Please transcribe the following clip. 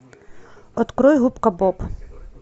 открой губка боб